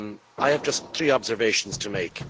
I have just three observations to make.